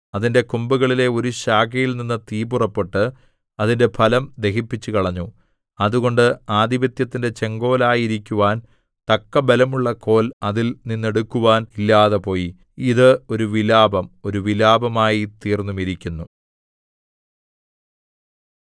അതിന്റെ കൊമ്പുകളിലെ ഒരു ശാഖയിൽനിന്ന് തീ പുറപ്പെട്ട് അതിന്റെ ഫലം ദഹിപ്പിച്ചുകളഞ്ഞു അതുകൊണ്ട് ആധിപത്യത്തിന്റെ ചെങ്കോലായിരിക്കുവാൻ തക്ക ബലമുള്ള കോൽ അതിൽ നിന്നെടുക്കുവാൻ ഇല്ലാതെപോയി ഇത് ഒരു വിലാപം ഒരു വിലാപമായിത്തീർന്നുമിരിക്കുന്നു